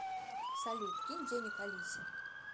салют кинь денег алисе